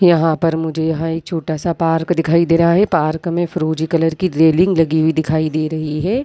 यहाँ पर मुझे यहाँ एक छोटा सा पार्क दिखाई दे रहा है पार्क में फिरोजी कलर की रैलिंग लगी हुई दिखाई दे रही है।